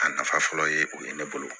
A nafa fɔlɔ ye o ye ne bolo